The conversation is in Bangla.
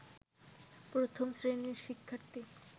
প্রথম শ্রেণির শিক্ষার্থী